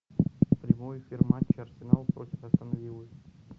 прямой эфир матча арсенал против астон виллы